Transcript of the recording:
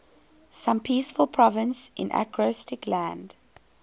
some peaceful province in acrostic land